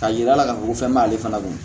Ka yira la k'a fɔ ko fɛn b'ale fana dɔn